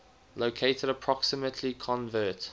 located approximately convert